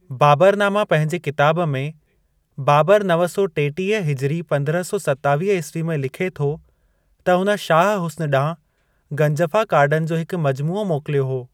बाबरनामा पंहिंजे किताब में बाबर नव सौ टेटीह हिजरी पंद्रहं सौ सतावीह ईस्वी में लिखे थो त हुन शाह हुस्न ॾांहुं गंजफ़ा कार्डन जो हिकु मजमूओ मोकिलियो हो।